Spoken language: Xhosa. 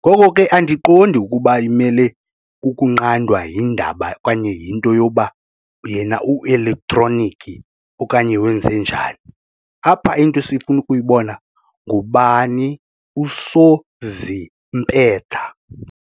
ngoko ke andiqondi ukuba imele ukunqandwa yindaba yinto yoba yena u-elektroniki okanye wenze njani. Apha into esifuna ukuyibona ngubani usozimpetha.